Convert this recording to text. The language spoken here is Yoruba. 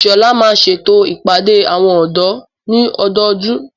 Ìṣọ̀là máa n ṣètò ìpàdé àwọn ọ̀dọ́ ní ọdọdún.